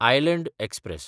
island express